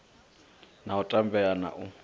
na u tambea na u